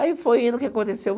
Aí foi indo, o que aconteceu?